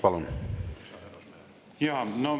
Palun!